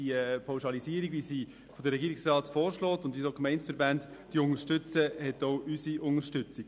Die Pauschalisierung, die der Regierungsrat vorschlägt und die ebenfalls von den Gemeindeverbänden unterstützt wird, hat auch unsere Unterstützung.